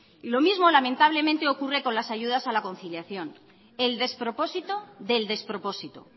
y lo mismo lamentablemente ocurre con las ayudas a la conciliación el despropósito del despropósito